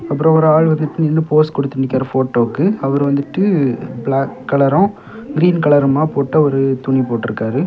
அப்புறம் ஒரு ஆள் வந்துட்டு நின்னு போஸ் குடுத்து நிக்கிறாரு போட்டோவுக்கு அவர் வந்துட்டு பிளாக் கலரூ கிரீன் கலருமா போட்ட ஒரு துணி போட்டு இருக்காரு.